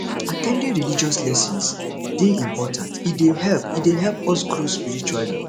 at ten ding religious lessons dey important e dey help e dey help us grow spiritually